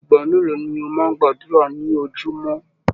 Ìgbà mélòó ni o máa n gbàdúrà ni ojúmọ́?